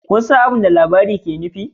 Kun san abin da labarin yake nufi